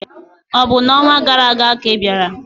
Ọ̀ bụ n'ọnwa gara aga ka ị bịara?